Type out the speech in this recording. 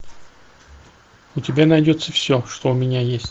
у тебя найдется все что у меня есть